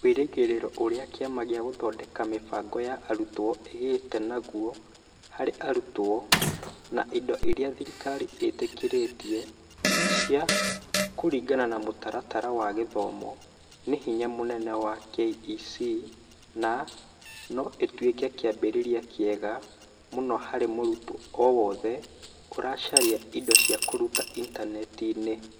Wĩrĩgĩrĩro ũrĩa Kĩama gĩa Gũthondeka Mĩbango ya Arutwo ĩgĩte naguo harĩ arutwo, na indo iria thirikari ĩtetĩkĩrĩte cia kũringana na mũtaratara wa gĩthomo nĩ hinya mũnene wa KEC na no ĩtuĩke kĩambĩrĩria kĩega mũno harĩ mũrutwo o wothe ũracaria indo cia kũruta Intaneti-inĩ.